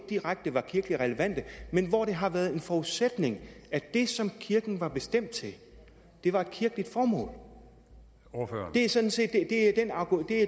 direkte kirkeligt relevante men hvor det har været en forudsætning at det som kirken var bestemt til var et kirkeligt formål det er sådan set